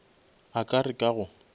a ka re ka go